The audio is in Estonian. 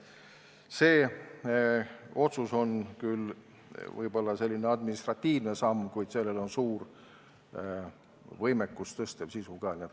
See otsus on küll võib-olla selline administratiivne samm, kuid sellel on ka suur võimekust parandav sisu.